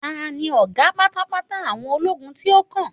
ta ni oga patapata àwọn ologun ti o kan